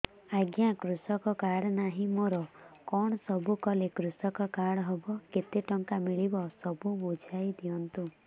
ଆଜ୍ଞା କୃଷକ କାର୍ଡ ନାହିଁ ମୋର କଣ ସବୁ କଲେ କୃଷକ କାର୍ଡ ହବ କେତେ ଟଙ୍କା ମିଳିବ ସବୁ ବୁଝାଇଦିଅନ୍ତୁ